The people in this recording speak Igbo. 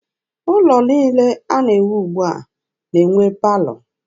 Ụlọ niile a na-ewu ugbua na-enwe palọ.